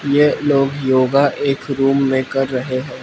ये लोग योगा एक रूम में कर रहे --